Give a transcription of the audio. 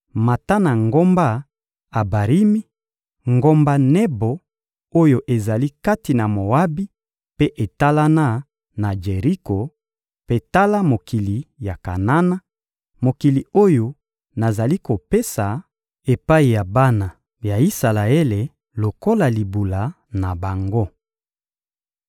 «Mata na ngomba Abarimi, ngomba Nebo oyo ezali kati na Moabi mpe etalana na Jeriko; mpe tala mokili ya Kanana, mokili oyo nazali kopesa epai ya bana ya Isalaele lokola libula na bango.